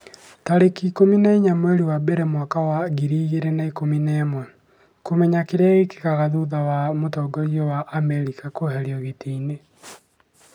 tarĩki ikũmi na inya mweri wa mbere mwaka wa ngiri igĩrĩ na ikũmi na ĩmweKũmenya kĩrĩa gĩkĩkaga thutha wa mũtongoria wa Amerika kũeherio gĩtĩ-inĩ